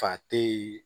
Fa te yen